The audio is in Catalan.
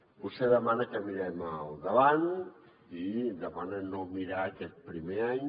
vostè demana que mirem endavant i demana no mirar aquest primer any